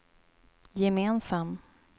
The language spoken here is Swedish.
gemensam